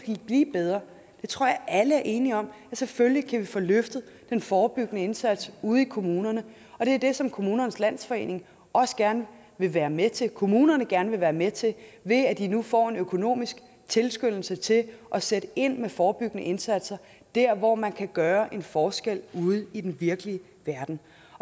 blive bedre tror jeg alle er enige om vi selvfølgelig kan få løftet den forebyggende indsats ude i kommunerne og det er det som kommunernes landsforening også gerne vil være med til kommunerne gerne være med til ved at de nu får en økonomisk tilskyndelse til at sætte ind med forebyggende indsatser der hvor man kan gøre en forskel ude i den virkelige verden